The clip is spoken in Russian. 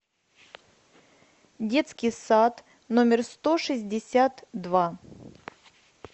детский сад номер сто шестьдесят два